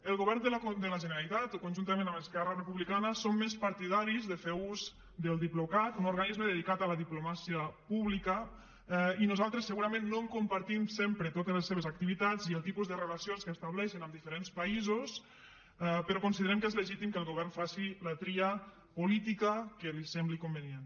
el govern de la generalitat conjuntament amb esquerra republicana són més partidaris de fer ús del diplocat un organisme dedicat a la diplomàcia pública i nosaltres segurament no compartim sempre totes les seves activitats i el tipus de relacions que estableixen amb diferents països però considerem que és legítim que el govern faci la tria política que li sembli convenient